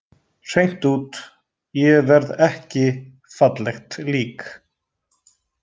Hreint út: Ég verð ekki fallegt lík.